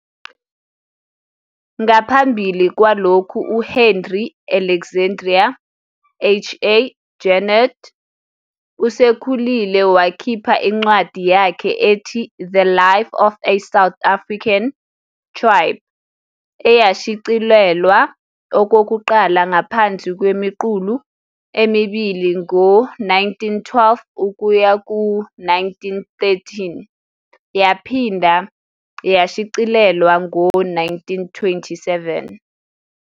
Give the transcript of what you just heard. Ngaphambi kwalokhu, uHenri Alexandri, HA, Junod osekhulile wakhipha incwadi yakhe ethi " "The Life of a South African Tribe" " eyashicilelwa okokuqala ngaphansi kwemiqulu emibili ngo-1912-1913 yaphinde yashicilelwa ngo-1927.